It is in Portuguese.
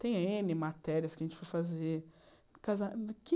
Tem êne matérias que a gente foi fazer.